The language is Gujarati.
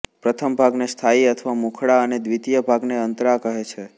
પ્રથમ ભાગને સ્થાયી અથવા મુખડાઅને દ્વિતીય ભાગને અંતરા કહે છે